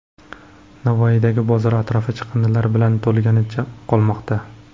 Navoiydagi bozor atrofi chiqindilar bilan to‘lganicha qolmoqda .